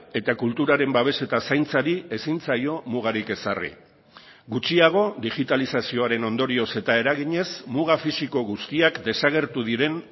eta kulturaren babes eta zaintzari ezin zaio mugarik ezarri gutxiago digitalizazioaren ondorioz eta eraginez muga fisiko guztiak desagertu diren